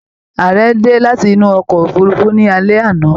Ààrẹ dé láti inú ọkọ òfurùnfu ni alé àná